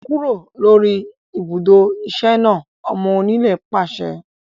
Kúrò lórí ibùdó iṣẹ́ náà! Ọmọ onílẹ̀ pàṣẹ